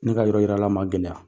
Ne ka yɔrɔ yila ma gɛlɛya .